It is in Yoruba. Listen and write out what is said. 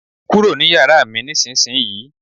Kúrò nínú yàrá mi nísinsìnyí!